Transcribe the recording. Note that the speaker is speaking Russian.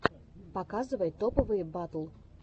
показывай топовые батл